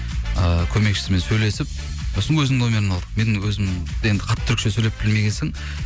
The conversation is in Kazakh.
ыыы көмекшісімен сөйлесіп сосын өзімнің номерін алды мен өзім енді қатты түркше сөйлеп білмеген соң